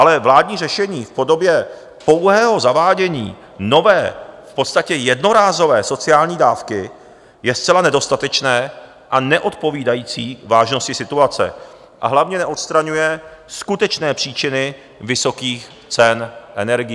Ale vládní řešení v podobě pouhého zavádění nové, v podstatě jednorázové sociální dávky je zcela nedostatečné a neodpovídající vážnosti situace, a hlavně neodstraňuje skutečné příčiny vysokých cen energií.